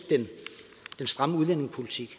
den stramme udlændingepolitik